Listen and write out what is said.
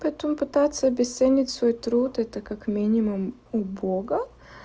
потом пытаться обесценить свой труд это как минимум убого